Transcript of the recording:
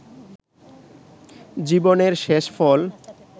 জীবনের শেষফল